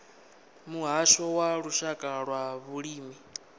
muhasho wa lushaka wa vhulimi